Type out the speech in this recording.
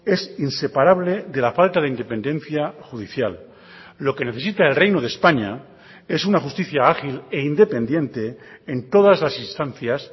es inseparable de la falta de independencia judicial lo que necesita el reino de españa es una justicia ágil e independiente en todas las instancias